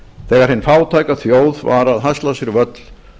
þegar hin fátæka þjóð var að hasla sér völl